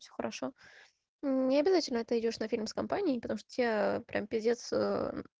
все хорошо необязательно ты идёшь на фильм с компании потому что тебе прямо пиздец ээ